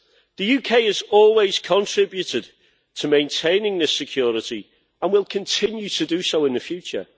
The UK has always contributed to maintaining this security and will continue to do so in the future.